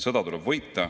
Sõda tuleb võita.